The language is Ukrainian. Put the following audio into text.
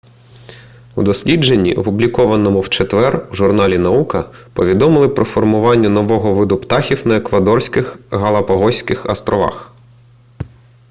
у дослідженні опублікованому в четвер у журналі наука повідомили про формування нового виду птахів на еквадорських галапагоських осторовах